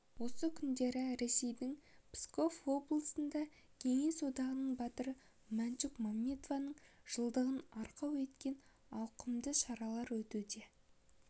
осы күндері ресейдің псков облысында кеңес одағының батыры мәншүк мәметованың жылдығын арқау еткен ауқымды шаралар өтуде